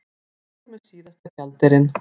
Fór með síðasta gjaldeyrinn